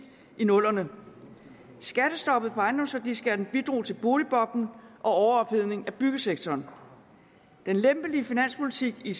i nullerne skattestoppet på ejendomsværdiskatten bidrog til boligboblen og overophedning i byggesektoren den lempelige finanspolitik i